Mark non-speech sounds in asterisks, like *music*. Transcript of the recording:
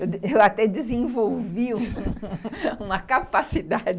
Eu até *laughs* desenvolvi uma capacidade